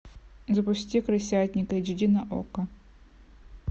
запусти крысятник эйч ди на окко